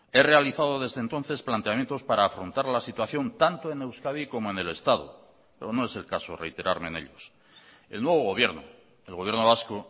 he realizado desde entonces planteamientos para afrontar la situación tanto en euskadi como en el estado pero no es el caso reiterarme en ellos el nuevo gobierno el gobierno vasco